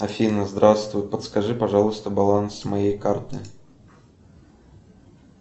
афина здравствуй подскажи пожалуйста баланс моей карты